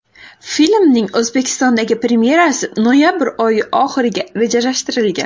Filmning O‘zbekistondagi premyerasi noyabr oyi oxiriga rejalashtirilgan.